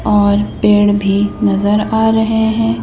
और पेड़ भी नजर आ रहे हैं।